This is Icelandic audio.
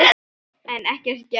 En ekkert gert.